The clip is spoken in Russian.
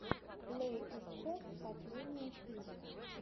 плэй эт хом последняя серия